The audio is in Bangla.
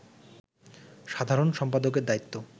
সাধারণ সম্পাদকের দায়িত্ব